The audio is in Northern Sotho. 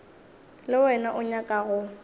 le wena o nyaka go